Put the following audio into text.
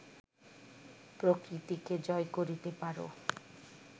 প্রকৃতিকে জয় করিতে পার